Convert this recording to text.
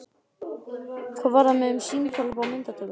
Hvað varðar mig um símtal upp á myndatöku?